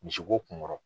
Misi ko kun kɔrɔ